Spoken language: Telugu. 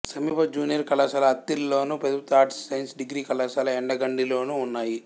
సమీప జూనియర్ కళాశాల అత్తిలిలోను ప్రభుత్వ ఆర్ట్స్ సైన్స్ డిగ్రీ కళాశాల యండగండిలోనూ ఉన్నాయి